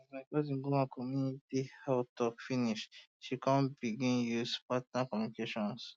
um as my cousin go one community health talk finish she come begun use partner communication um